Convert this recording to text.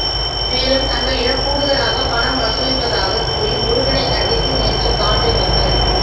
மேலும் தங்களிடம் கூடுதலாக பணம் வசூலிப்பதாக கூறி முருகனை கண்டித்து நேற்று காண்டை மக்கள்